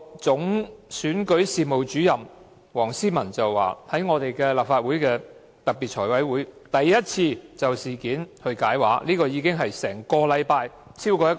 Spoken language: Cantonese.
總選舉事務主任黃思文在立法會特別財務委員會會議上首次就事件解畫，其時已是事發後超過1星期。